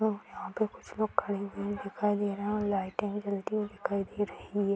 और यहाँ पे कुछ लोग खड़े हुए दिखाई दे रहे हैं और लाइटें जलती हुई दिखाई दे रही है |